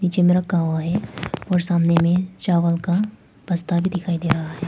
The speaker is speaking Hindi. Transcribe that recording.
ये मेरा गाँव है और सामने में चावल का बस्ता भी दिखाई दे रहा है।